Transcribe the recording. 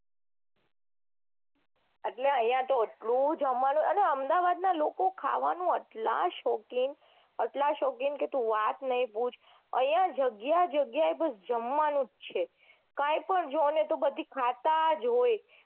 આટલા તો એટલું જમવાનું અન અમદાવાદના લોકો ખાવાના એટલા શોખીન એટલા શોખીન કે તું વાત ના પૂછ આઇયા જગ્યાએ જગ્યાએ બસ જમવાનું જ છે કાંઈ પણ જોવે બધી ખાતા જ હોય